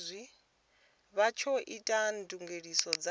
vha tsho ita ndugiselo dza